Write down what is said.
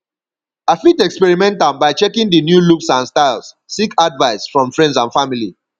i fit experiment am by checkng di new looks and styles seek advice from friends and family